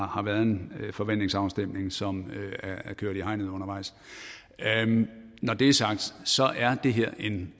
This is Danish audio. har været en forventningsafstemning som er kørt i hegnet undervejs når det er sagt så er det her er en